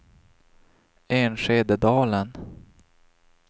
Enskededalen